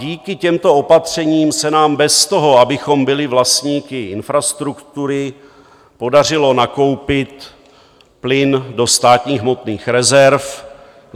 Díky těmto opatřením se nám bez toho, abychom byli vlastníky infrastruktury, podařilo nakoupit plyn do státních hmotných rezerv.